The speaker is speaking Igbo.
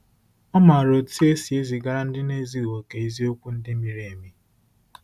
Ọ maara otú e si ezigara ndị na-ezughị okè eziokwu ndị miri emi.